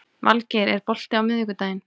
Vilgeir, er bolti á miðvikudaginn?